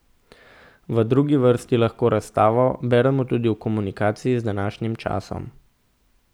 V drugi vrsti lahko razstavo beremo tudi v komunikaciji z današnjim časom.